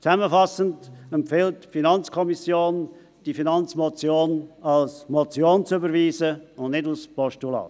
Zusammenfassend empfiehlt die FiKo, diese Finanzmotion als Motion zu überweisen, und nicht als Postulat.